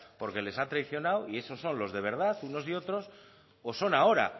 porque les ha traicionado y eso son los de verdad unos y otros o son ahora